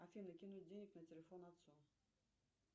афина кинуть денег на телефон отцу